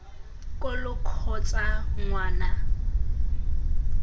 ko lo kgotsa ngwa na